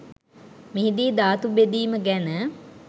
මෙහිදී ධාතු බෙදීම ගැන